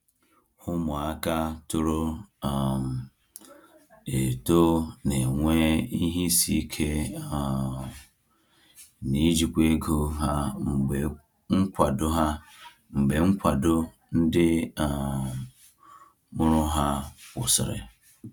Ụmụaka toro um eto na-enwe ihe isi ike um n’ijikwa ego ha mgbe nkwado ha mgbe nkwado ndị um mụrụ ha kwụsịrị.